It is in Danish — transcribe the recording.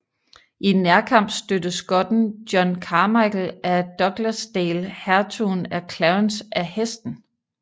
I nærkamp stødte skotten John Carmichael af Douglasdale hertugen af Clarence af hesten